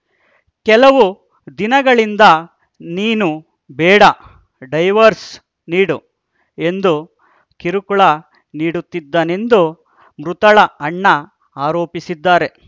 ಕೆಲವು ದಿನಗಳಿಂದ ನೀನು ಬೇಡ ಡೈವೋರ್ಸ ನೀಡು ಎಂದು ಕಿರುಕುಳ ನೀಡುತ್ತಿದ್ದನೆಂದು ಮೃತಳ ಅಣ್ಣ ಆರೋಪಿಸಿದ್ದಾರೆ